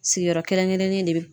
Sigiyɔrɔ kɛrɛnkɛrɛnnen de be